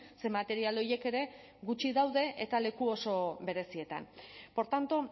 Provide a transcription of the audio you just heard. ze material horiek ere gutxi daude eta leku oso berezietan por tanto